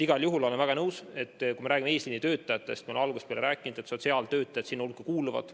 Igal juhul olen ma väga nõus sellega, et kui räägime eesliinitöötajatest, siis, nagu ma olen algusest peale rääkinud, kuuluvad nende hulka ka sotsiaaltöötajad.